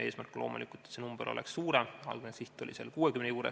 Eesmärk on loomulikult, et see number oleks suurem, algne siht oli 60 juures.